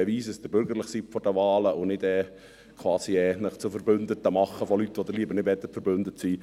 Beweisen Sie, dass Sie vor den Wahlen bürgerlich sind und verbünden Sie sich nicht mit Leuten, mit denen Sie lieber nicht verbündet sind.